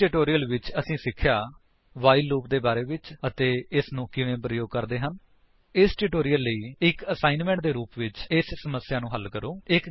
ਇਸ ਟਿਊਟੋਰਿਅਲ ਵਿੱਚ ਅਸੀਂ ਸਿੱਖਿਆ ਵਾਈਲ ਲੂਪ ਦੇ ਬਾਰੇ ਵਿੱਚ ਇਸਨੂੰ ਕਿਵੇਂ ਪ੍ਰਯੋਗ ਕਰਦੇ ਹਨ ਇਸ ਟਿਊਟੋਰਿਅਲ ਲਈ ਇੱਕ ਅਸਾਇਣਮੈਂਟ ਦੇ ਰੂਪ ਵਿੱਚ ਇਸ ਸਮੱਸਿਆ ਨੂੰ ਹੱਲ ਕਰੋ